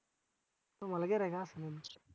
तुम्हाला गिर्हाईक असणार